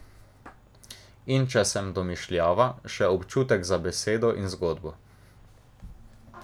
In če sem domišljava, še občutek za besedo in zgodbo.